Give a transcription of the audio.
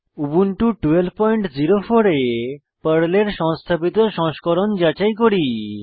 Ubuntu 1204 এ পর্লের সংস্থাপিত সংস্করণ যাচাই করি